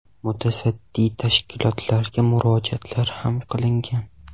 Mutasaddi tashkilotlarga murojaatlar ham qilingan.